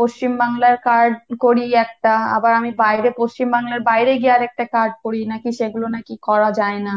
পশ্চিমবাংলার card করি একটা আবার আমি বাইরের পশ্চিমবাংলার বাইরে গিয়ে আরেকটা card করি নাকি সেগুলা নাকি করা যায় না